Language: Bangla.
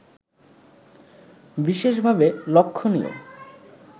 বিশেষভাবে লক্ষণীয়